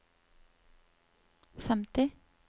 femti